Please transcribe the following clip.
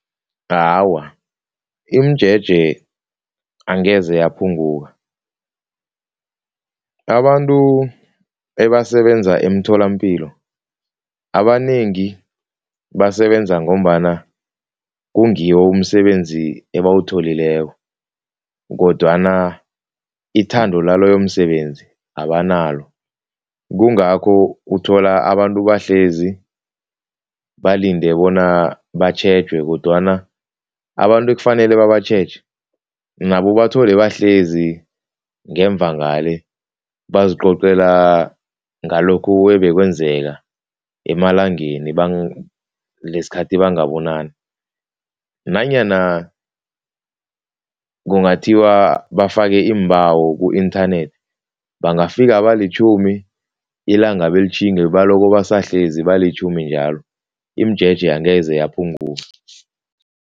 Awa, imijeje angeze yaphunguka, abantu ebasebenza emtholapilo, abanengi basebenza ngombana kungiwo umsebenzi ebawutholileko kodwana ithando laloyo msebenzi abanalo Kungakho uthola abantu bahlezi balinde bona batjhejwe kodwana abantu ekufanele babatjhege, nabo ubathole bahlezi ngemva ngale bazicocela ngalokhu ebekwenzeka emalangeni lesikhathi bangabonani, nanyana kungakhiwa bafake iimbawo ku-inthanethi bangafika abalitjhumi ilanga belitjhinge baloko bahlezi abalitjhumi njalo, imijeje angeze yaphunguka.